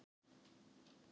Svo varð þetta allt í lagi.